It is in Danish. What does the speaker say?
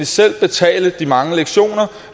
selv betale de mange lektioner